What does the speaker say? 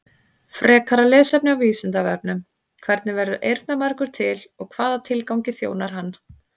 Frekara lesefni á Vísindavefnum: Hvernig verður eyrnamergur til og hvaða tilgangi þjónar hann?